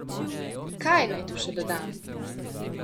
Kaj naj tu še dodam?